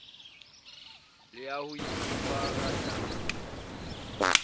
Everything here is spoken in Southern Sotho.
le ya ho ipopa ngatana